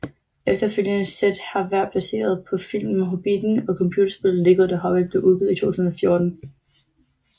Efterfølgende sæt har været baseret på filmserien Hobbitten og computerspillet Lego The Hobbit blev udgivet i 2014